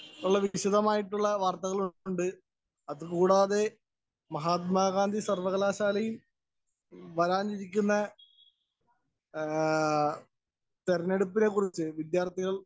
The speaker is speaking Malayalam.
സ്പീക്കർ 1 ഒള്ള വിശദമായിട്ടുള്ള വാര്‍ത്തകളും ഒണ്ട്. അതുകൂടാതെ, മഹാത്മാഗാന്ധി സര്‍വ്വകലാശാലയില്‍ വരാനിരിക്കുന്നതെരഞ്ഞെടുപ്പിനെ കുറിച്ച്. വിദ്യാര്‍ത്ഥികള്‍